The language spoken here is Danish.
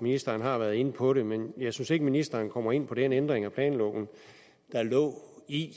ministeren har været inde på det men jeg synes ikke ministeren kommer ind på den ændring af planloven der lå i